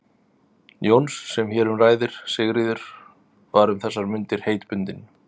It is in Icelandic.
Jóns sem hér um ræðir, Sigríður, var um þessar mundir heitbundin